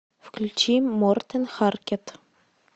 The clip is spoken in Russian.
включи мортен харкет